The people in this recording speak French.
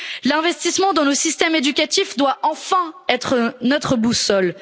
L'investissement dans le système éducatif doit enfin être notre boussole.